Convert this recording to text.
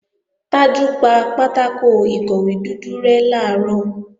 Tájù pa pátákò ìkọ̀wé dúdú rẹ́ làárọ̀